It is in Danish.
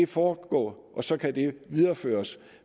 foregå og så kan de videreføres